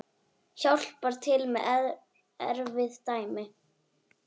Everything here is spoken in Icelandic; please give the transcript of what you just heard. Hjálpar til með erfið dæmi.